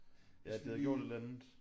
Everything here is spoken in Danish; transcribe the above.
Ja at det havde gjort et eller andet